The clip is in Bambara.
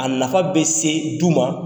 A nafa bɛ se du ma.